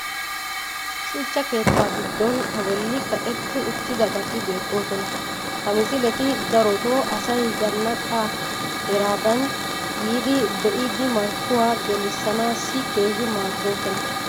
shuchcha keettaa giddon a boli kaqetti uttidabati beetoosona. ha missiletti darotoo asay zanaqqa heeraadan yiidi be'iddi marccuwaa gelissanaassi keehi maadoosona.